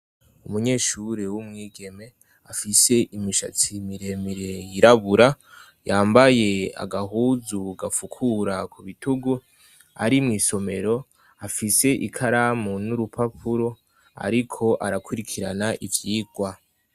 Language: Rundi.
Umunyeshuri w'umwigeme afise imishatsi miremire yirabura yambaye agahuzu gapfukura ku bitugu ari mw'isomero afise ikaramu n'urupapuro, ariko arakurikirana ivyirwa.